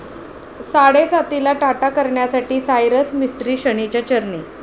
साडेसातीला 'टाटा' करण्यासाठी सायरस मिस्त्री शनीच्या चरणी